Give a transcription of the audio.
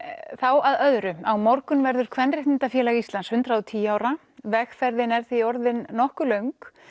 þá að öðru á morgun verður Kvenréttindafélag Íslands hundrað og tíu ára vegferðin er því orðin nokkuð löng